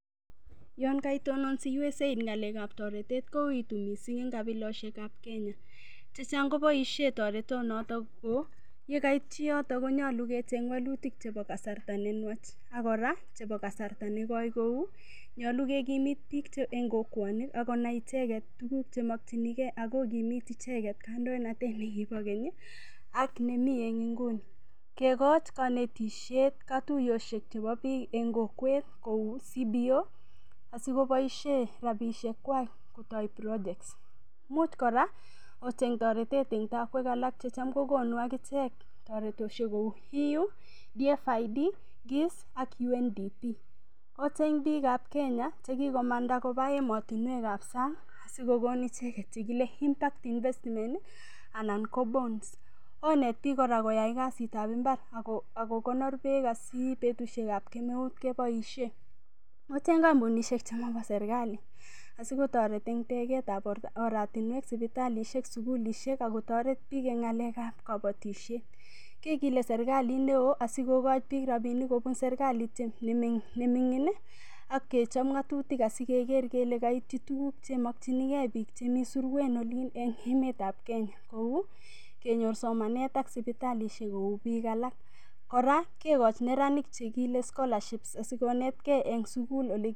Yon kaitonon USAID ng'alekab toretoshek kouitu mising' eng' kabiloshek ab Kenya chechang' koboishe toretonoto ko yekaityi yoto konyoru kecheny wolutik chebo kasarta nenwach akora chebo kasarta negoi kou nyalu kekimit biik eng' kokwonik akonai icheget tuguk chemokchinigei akokimit icheget kandoinatet nekibo keny ak nemi eng' inguni kekoch kanetishet katuyoshek chebo biok eng' kokwet kou CBO asikoboishe rapishek kwach kotoi projects much kora ocheny toretet eng' tokwek alak checham kokonu akichek toretoshek kou EU, DFID GIS ak UNDP ocheny biikab kenya chekikomanda koba emotinwek ab sang' sikokon icheget chekile impact investment anan bonds onet biik kora koyait kasit ab imbar akokonor beek asi eng' betushekab kemeut keboishe ocheny kampunishek chemabo serilali asiketoret eng' teksetab oratinwek sipitalishek sukulishek akotoret biik eng' ng'alekab kabotoshet kekilei serikalit neo asikokoch biik rapinik kobun serikalit nemig'in akechop ng'atutik asikeker kele kaityi tuguk chemokchinigei biik chemi surwen olin eng' emetab Kenya kou kenyor somanet ak sipitalishek kou biik alak kora kekoch neranik chekile scholarships asikonetgei eng' sukul